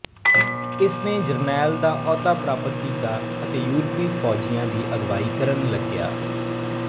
ਇਸਨੇ ਜਰਨੈਲ ਦਾ ਅਹੁਦਾ ਪ੍ਰਾਪਤ ਕੀਤਾ ਅਤੇ ਯੂਰਪੀ ਫ਼ੌਜੀਆਂ ਦੀ ਅਗਵਾਈ ਕਰਨ ਲੱਗਿਆ